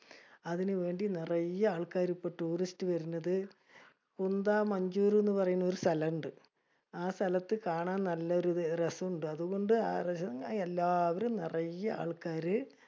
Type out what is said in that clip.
അതിനു വേണ്ടി നറയെ ആൾക്കാര് ഇപ്പൊ tourist വരണത്. കുന്ദ മഞ്ചൂർ എന്ന് പറയുന്നൊരു സ്ഥലം ഇണ്ട്. ആ സ്ഥലത്തു കാണാൻ നല്ല രസോമിണ്ട. അതുകൊണ്ട് എല്ലാവരും നറയെ ആൾക്കാര്